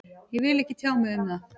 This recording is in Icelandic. Ég vil ekki tjá mig um það